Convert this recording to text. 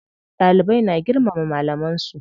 Dalibai na girmama malaman su.